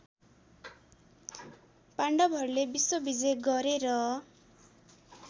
पाण्डवहरूले विश्वविजय गरेर